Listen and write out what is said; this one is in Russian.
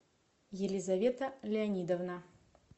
елизавета леонидовна